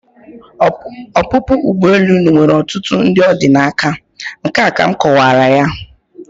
Ọpụpụ ụgbọelu unu nwere ọtụtụ ndị ọ dị n'aka, nke a ka m kọwara ya.